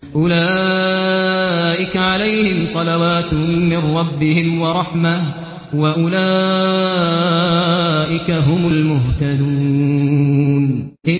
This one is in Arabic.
أُولَٰئِكَ عَلَيْهِمْ صَلَوَاتٌ مِّن رَّبِّهِمْ وَرَحْمَةٌ ۖ وَأُولَٰئِكَ هُمُ الْمُهْتَدُونَ